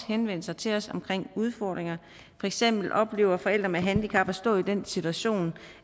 henvendt sig til os omkring udfordringer for eksempel oplever forældre med handicap at stå i den situation